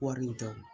Wari in tɛ